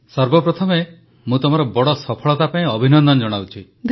ସର୍ବପ୍ରଥମେ ମୁଁ ତମର ବଡ଼ ସଫଳତା ପାଇଁ ଅଭିନନ୍ଦନ ଜଣାଉଛି